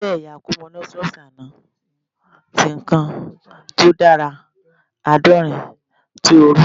Irin jẹ ẹya akomo, lustrous ano ati kan ti o dara adaorin ti ooru